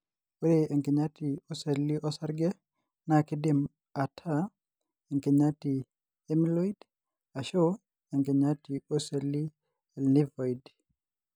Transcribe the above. ore enkinyati oseli lo- osarge na kidim ata enkinyati emyeloid ashu enkinyati oseli e- lymphoid.